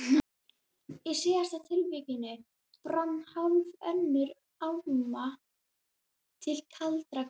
Í síðasta tilvikinu brann hálf önnur álma til kaldra kola.